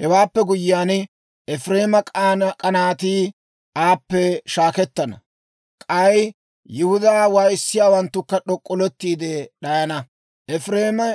Hewaappe guyyiyaan, Efireema k'anaatii aappe shaakettana; k'ay Yihudaa waayissiyaawanttukka d'ok'k'oletti d'ayana. Efireeme